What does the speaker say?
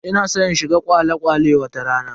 Ina san in shiga kwale-kwale wata rana.